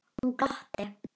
Hún glotti.